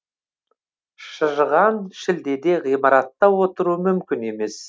шыжыған шілдеде ғимаратта отыру мүмкін емес